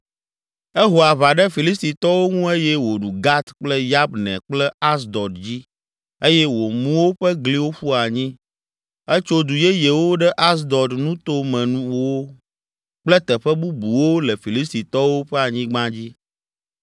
Eho aʋa ɖe Filistitɔwo ŋu eye wòɖu Gat kple Yabne kple Asdod dzi eye wòmu woƒe gliwo ƒu anyi. Etso du yeyewo ɖe Asdod nutomewo kple teƒe bubuwo le Filistitɔwo ƒe anyigba dzi.